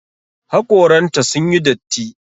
Haƙoran ta sun yi datti.